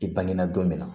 I bangenan don min na